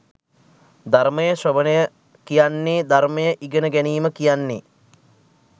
ධර්මය ශ්‍රවණය කියන්නේ ධර්මය ඉගෙන ගැනීම කියන්නේ.